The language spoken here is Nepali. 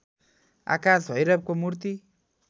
आकाश भैरवको मूर्ति